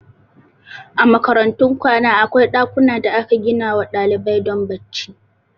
A makarantun kwana akwai ɗakuna da aka ginawa ɗalibai don bacci